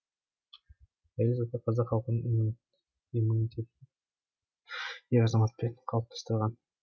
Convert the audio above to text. әйел заты қазақ халқының иммунитетін ер азаматпен қалыптастырған